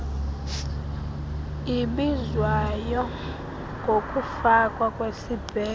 ibizwayo ngokufakwa kwesibheno